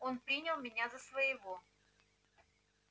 он принял меня за своего